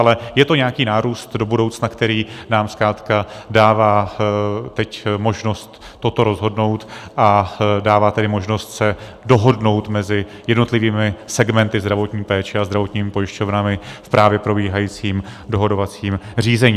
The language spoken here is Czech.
Ale je to nějaký nárůst do budoucna, který nám zkrátka dává teď možnost toto rozhodnout, a dává tedy možnost se dohodnout mezi jednotlivými segmenty zdravotní péče a zdravotními pojišťovnami v právě probíhajícím dohadovacím řízení.